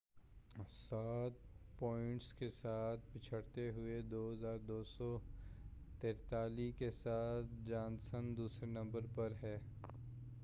سات پوائنٹس کے ساتھ پچھڑتے ہوئے، 2،243 کے ساتھ جانسن دوسرے نمبر پر ہے۔